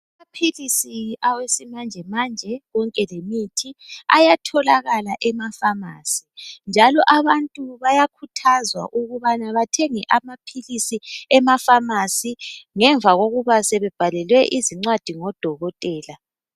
Amaphilisi awesimanjemanje konke lemithi ayatholakala emafamasi njalo abantu bayakhuthazwa ukubana bathenge amaphilisi emafamasi ngemva kokubana sebebhalelwe izincwadi ngodokotela.